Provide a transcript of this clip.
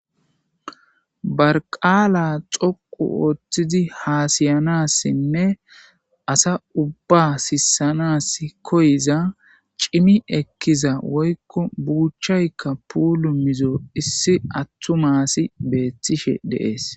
barqaala xoqu ooththidi haasiyanassinne asa ubba sissanas koyiza cimi ekkiza woykko buuchchaykka puulu mizo issi attu masi beethtishe deees